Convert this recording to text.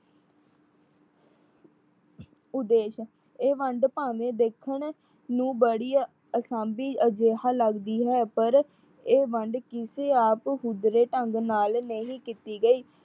ਉਦੇਸ਼, ਇਹ ਵੰਡ ਭਾਵੇਂ ਦੇਖਣ ਨੂੰ ਬੜੀ ਅਸਾਬੀ ਅਜਿਹਾ ਲੱਗਦੀ ਹੈ। ਪਰ ਇਹ ਵੰਡ ਕਿਸੇ ਆਪ ਹੁਦਰੇ ਢੰਗ ਨਾਲ ਨਹੀਂ ਕੀਤੀ ਗਈ।